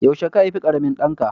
Yaushe ka haifi ƙaramin ɗanka?